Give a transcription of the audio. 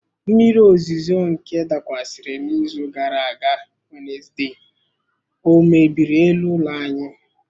Mmiri ozuzo nke dakwasịrị n'izu gara aga Wenezde ọ mebiri elu ụlọ anyị?